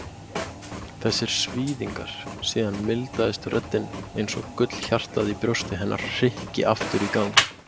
Þessir svíðingar. Síðan mildaðist röddin einsog gullhjartað í brjósti hennar hrykki aftur í gang.